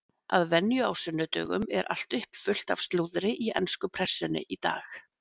Að venju á sunnudögum er allt uppfullt af slúðri í ensku pressunni í dag.